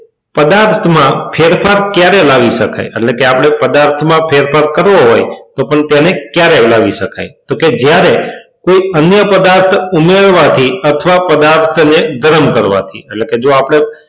પદાર્થમાં ફેરફાર ક્યારે લાવી શકાય કે આપણે પદાર્થમાં ફેરફાર કરવો હોય તો પણ તેને ક્યારેય લાવી શકાય તો કે જ્યારે કોઈ અન્ય પદાર્થો ઉમેરવા થી અથવા પદાર્થને ગરમ કરવાથી. એટલે કે જો આપણે,